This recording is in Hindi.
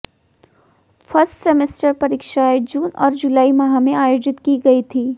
फस्र्ट सेमेस्टर परीक्षाएं जून और जुलाई माह में आयोजित की गई थीं